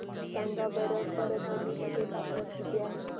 सांगा बरं परभणी मध्ये तापमान किती आहे